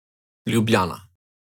Ljubljana.